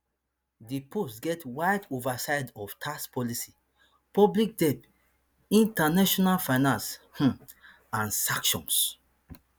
di post get wide oversight of tax policy public debt international finance um and sanctions